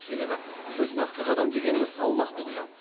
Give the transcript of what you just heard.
себебі жүз нақты қадам дегеніміз салмақты құжат